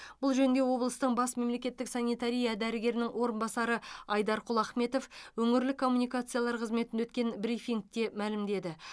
бұл жөнінде облыстың бас мемлекеттік санитария дәрігерінің орынбасары айдарқұл ахметов өңірлік коммуникациялар қызметінде өткен брифингте мәлімдеді